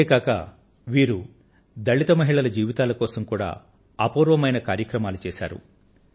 ఇంతేకాక వీరు దళిత మహిళల జీవితాల కోసం కూడా అపూర్వమైన కార్యక్రమాలు చేశారు